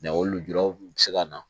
o lujura kun bɛ se ka na